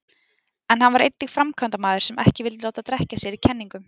En hann var einnig framkvæmdamaður sem ekki vildi láta drekkja sér í kenningum.